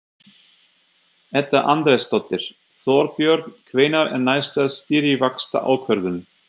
Edda Andrésdóttir: Þorbjörn, hvenær er næsta stýrivaxtaákvörðun?